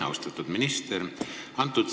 Austatud minister!